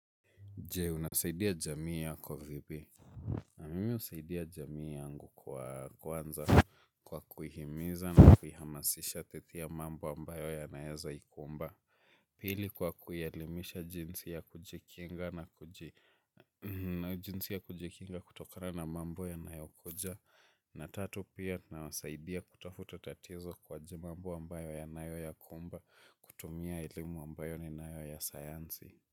Je, unasaidia jamii yako vipi? Na mimi husaidia jamii yangu kwa kwanza, kwa kuihimiza na kuihamasisha katika mambo ambayo yanaweza ikumba. Pili, kwa kuielimisha jinsi ya kujikinga jinsi ya kujikinga kutokana na mambo yanayokuja. Na tatu, pia nawasaidia kutatua tatizo kwa mambo ambayo yanakumbwa, kutumia elimu ambayo ninayo ya sayansi.